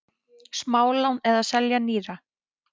Smálán eða selja nýra?